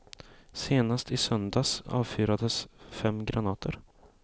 Senast i söndags avfyrades fem granater.